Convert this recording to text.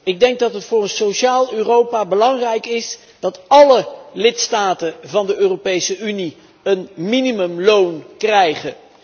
Ik denk dat het voor een sociaal Europa belangrijk is dat álle lidstaten van de Europese Unie een minimumloon krijgen.